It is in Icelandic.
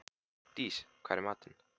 Dís, hvað er í matinn?